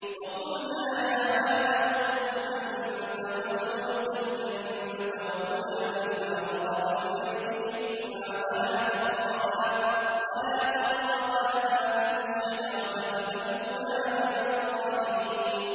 وَقُلْنَا يَا آدَمُ اسْكُنْ أَنتَ وَزَوْجُكَ الْجَنَّةَ وَكُلَا مِنْهَا رَغَدًا حَيْثُ شِئْتُمَا وَلَا تَقْرَبَا هَٰذِهِ الشَّجَرَةَ فَتَكُونَا مِنَ الظَّالِمِينَ